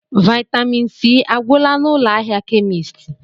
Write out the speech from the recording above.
Vaịtamịn C agwụla n'ụlọ ahịa kemisti?